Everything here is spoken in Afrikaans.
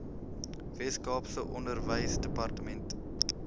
wes kaapse onderwysdepartement